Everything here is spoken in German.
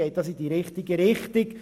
Das geht in die richtige Richtung.